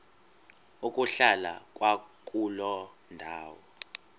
ukuhlala kwakuloo ndawo